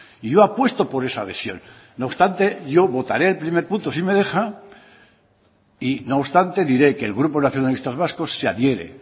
y yo apuesto por esa adhesión no obstante yo votaré el primer punto si me deja y no obstante diré que el grupo nacionalistas vascos se adhiere